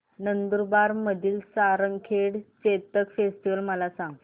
नंदुरबार मधील सारंगखेडा चेतक फेस्टीवल मला सांग